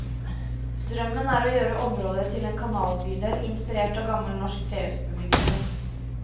Drømmen er å gjøre området til en kanalbydel inspirert av gammel norsk trehusbebyggelse.